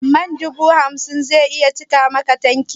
Man dubu hamsin zai cika maka tanki?